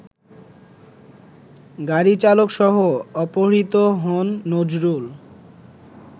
গাড়িচালকসহ অপহৃত হন নজরুল